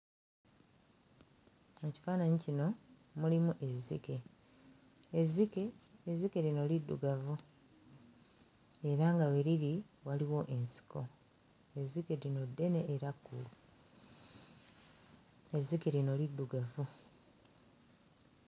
Mu kifaananyi kino mulimu ezzike. Ezzike ezzike lino liddugavu era nga we liri waliwo ensiko, ezzike lino ddene era kkulu; ezzike lino liddugavu.